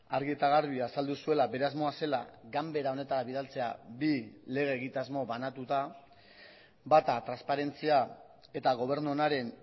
argi eta garbi azaldu zuela bere asmoa zela ganbera honetara bidaltzea bi lege egitasmo banatuta bata transparentzia eta gobernu onaren